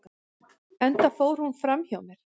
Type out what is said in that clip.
enda fór hún fram hjá mér